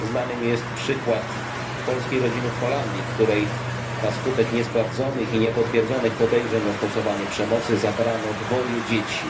Znany mi jest przykład polskiej rodziny w Holandii, w której na skutek niesprawdzonych i niepotwierdzonych podejrzeń o stosowanie przemocy zabrano dwoje dzieci.